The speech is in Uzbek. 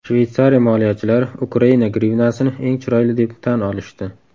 Shveytsariya moliyachilari Ukraina grivnasini eng chiroyli deb tan olishdi.